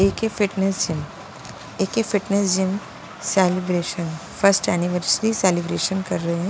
A K fitness gym A K fitness gym celebration first anniversary celebration कर रहे हैं।